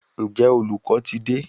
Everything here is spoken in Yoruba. Ǹjẹ́ olùkọ́ ti dé?